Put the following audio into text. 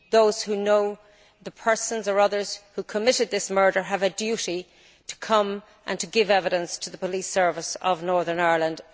Those who know the persons or others who committed this murder have a duty to come and to give evidence to the Police Service of Northern Ireland.